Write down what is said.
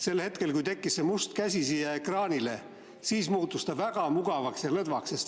Sel hetkel, kui tekkis see must käsi siia ekraanile, muutus see väga mugavaks ja lõdvaks.